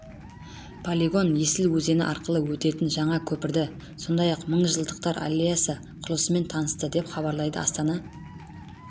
полигон есіл өзені арқылы өтетін жаңа көпірді сондай-ақ мыңжылдықтар аллеясы құрылысымен танысты деп хабарлайды астана